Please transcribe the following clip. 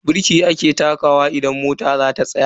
Birki ake takawa idan mota zata tsaya.